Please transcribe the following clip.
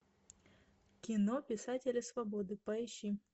кино писатели свободы поищи